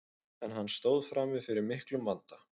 en hann stóð frammi fyrir miklum vanda